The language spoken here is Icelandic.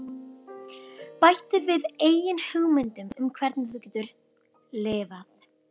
Bættu við eigin hugmyndum um hvernig þú getur LIFAÐ